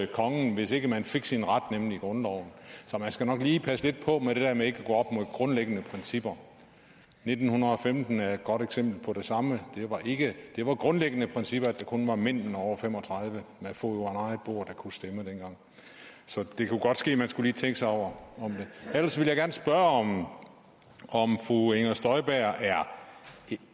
kongen hvis ikke man fik sin ret nemlig grundloven så man skal nok lige passe lidt på med det der med ikke at gå grundlæggende principper nitten femten er et godt eksempel på det samme det var grundlæggende principper at det kun var mænd over fem og tredive år med fod under eget bord der dengang kunne stemme så det kunne godt ske at man lige skulle tænke sig om ellers vil jeg gerne spørge om fru inger støjberg